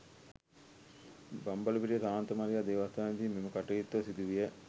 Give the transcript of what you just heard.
බම්බලපිටිය ශාන්ත මරියා දේවස්ථානයේදී මෙම කටයුත්ත සිදු විය